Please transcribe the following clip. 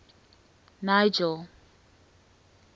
nigel